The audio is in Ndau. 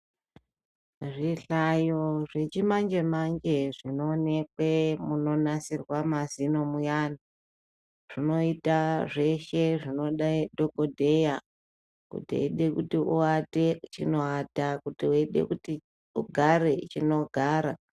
Zvihlayo zvechimanjemanje zvinoonekwe munonasirwa mazino muyani zvinoita zveshe zvinoda dhokodheya kuti eide kuti uate chinoata kuti weide kuti ugare chinogara.